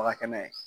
Baga kɛnɛ